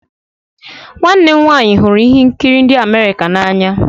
nwanne m nwanyị hụrụ ihe nkiri ndi America n'anya